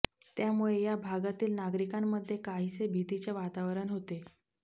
त्यामुळे या भागातील नागरिकांमध्ये काहीसे भितीचे वातावरण होते